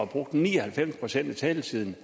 brugt ni og halvfems procent af taletiden